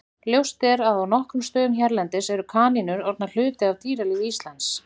Ljóst er að á nokkrum stöðum hérlendis eru kanínur orðnar hluti af dýralífi Íslands.